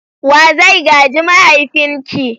Wa zai gaji mahaifinki?